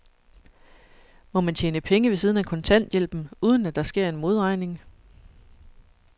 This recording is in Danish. Må man tjene penge ved siden af kontanthjælpen, uden at der sker en modregning?